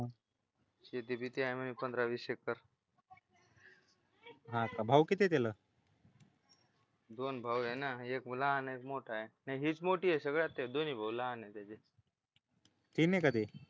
शेती बीती आहे म्हणे पंधरा-वीस एकर हा का भाऊ किती आहे तिला दोन भाऊ आहे ना एक लहान एक मोठा आहे नाही हेच मोठी आहे सगळं ते दोन्ही भाऊ लहान आहे तीन आहे का ते